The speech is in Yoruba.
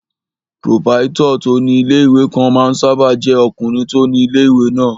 Pòròpáítọ̀ tó ní ilé-ìwé kan máa ń sáábà jẹ́ ọkùnrin tó ni ilé-ìwé náà